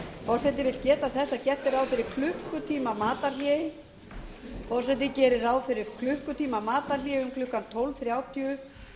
forseti vill geta þess að gert er ráð fyrir klukkutímamatarhléi um klukkan tólf þrjátíu